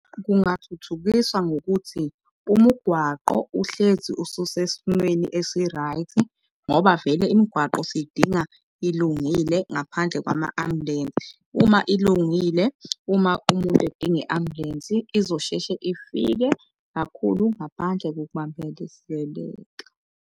Kungathuthukiswa ngokuthi umugwaqo uhlezi ususesimeni esi-right ngoba vele imigwaqo siyidinga ilungile ngaphandle kwama-ambulensi. Uma ilungile, uma umuntu edinga i-ambulensi izosheshe ifike kakhulu ngaphandle kokubambelezeleka.